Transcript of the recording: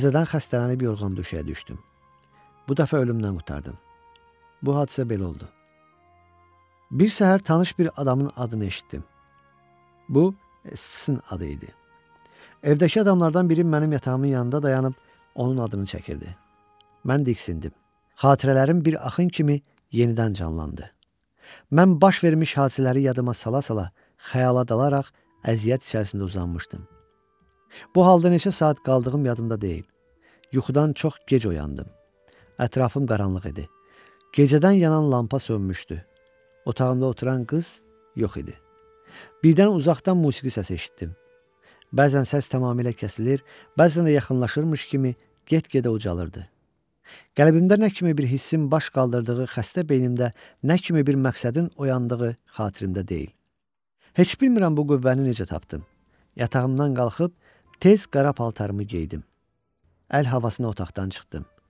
Əl havasına otaqdan çıxdım.